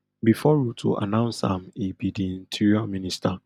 before ruto announce am e be di interior minister